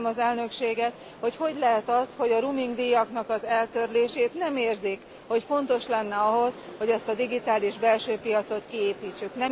Nem értem az Elnökséget, hogy hogy lehet az, hogy a roaming díjaknak az eltörlését nem érzik, hogy fontos lenne ahhoz, hogy ezt a digitális belső piacot kiépítsük.